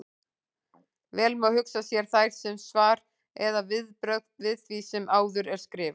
Vel má hugsa sér þær sem svar eða viðbrögð við því sem áður er skrifað.